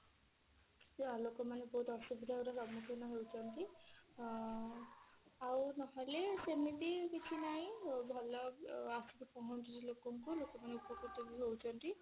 ସେଇଆ ଲୋକମାନେ ବହୁତ ଅସୁବିଧା ର ସମୁଖୀନ ହଉଛନ୍ତି ଅ ଆଉ ନହେଲେ ସେମିତି କିଛି ନାହିଁ ଭଲ ଆସିକି ପହଞ୍ଚୁଛି ଲୋକ ଙ୍କୁ ଲୋକ ପୁଣି ଉପକୃତ ବି ହଉଛନ୍ତି